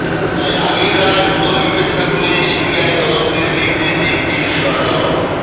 তাই আগের রায় পুনর্বিবেচনা করে সিবিআই তদন্তের নির্দেশ দিক শীর্ষ আদালত